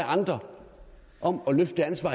andre om at løfte det ansvar